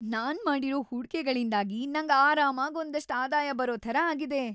ನಾನ್‌ ಮಾಡಿರೋ ಹೂಡ್ಕೆಗಳಿಂದಾಗಿ ನಂಗ್‌ ಆರಾಮಾಗ್‌ ಒಂದಷ್ಟ್ ಆದಾಯ ಬರೋ ಥರ ಆಗಿದೆ.